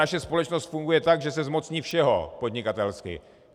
Naše společnost funguje tak, že se zmocní všeho podnikatelsky.